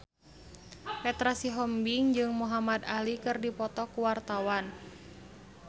Petra Sihombing jeung Muhamad Ali keur dipoto ku wartawan